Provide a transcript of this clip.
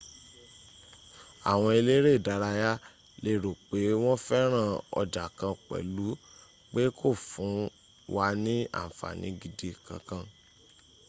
awon elere idaraya le ro pe won feran oja kan pelu pe ko fun wa ni anfani gidi kan kan